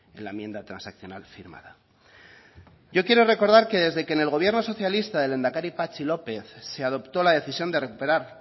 en la enmienda transaccional firmada yo quiero recordar que desde que en el gobierno socialista del lehendakari patxi lópez se adoptó la decisión de recuperar